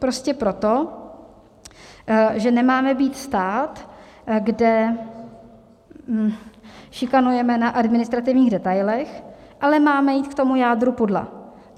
Prostě proto, že nemáme být stát, kde šikanujeme na administrativních detailech, ale máme jít k tomu jádru pudla.